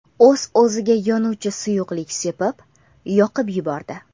U o‘ziga yonuvchi suyuqlik sepib, yoqib yubordi.